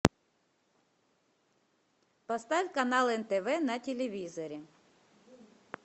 поставь канал нтв на телевизоре